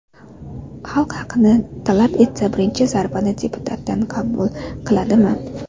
Xalq haqini talab qilsa, birinchi zarbani deputatdan qabul qiladimi?